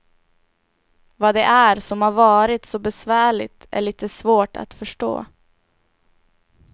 Vad det är som har varit så besvärligt är lite svårt att förstå.